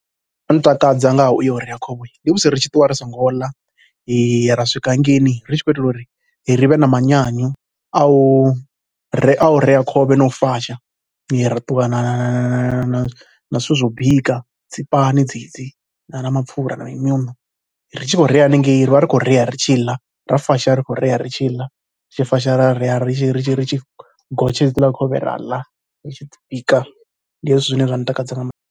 Zwo no ntakadza nga ha u ya u rea khovhe ndi musi ri tshi ṱuwa ri songo ḽa ra swika hangeini ri tshi khou itela uri ri vhe na manyanyu a u rea khovhe na u fasha. Ra ṱuwa na na na zwithu zwa u bika, dzi pani dzedzi na mapfhura na mimuṋo. Ri tshi khou rea hanengei, ri vha ri tshi khou rea ri tshi ḽa, ra fasha ri tshi khou rea ri tshi ḽa, ri tshi fasha ra rea ri tshi, ri tshi, ri tshi gotsha hedziḽa khovhe ra ḽa ri tshi bika. Ndi hezwo zwine zwa ntakadza maanḓa.